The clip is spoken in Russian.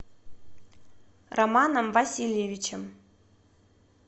романом васильевичем